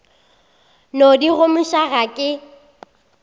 no di gomiša ga ke